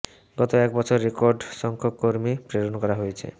গত এক বছর রেকর্ড সংখ্যক কর্মী প্রেরণ করা হয়েছে